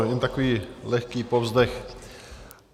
Jen takový lehký povzdech.